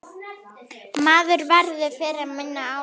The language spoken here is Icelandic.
Maður verður fyrir minna álagi.